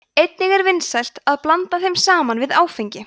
einnig er vinsælt að blanda þeim saman við áfengi